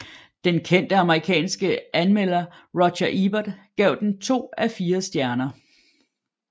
Den kendte amerikanske anmelder Roger Ebert gav den to af fire stjerner